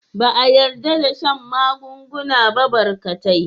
Ba a yarda da shan magunguna ba barkatai.